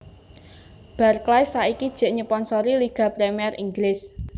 Barclays saiki jek nyeponsori Liga Premier Inggris